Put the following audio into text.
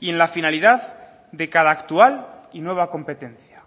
y en la finalidad de cada actual y nueva competencia